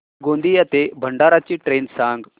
गोंदिया ते भंडारा ची ट्रेन सांग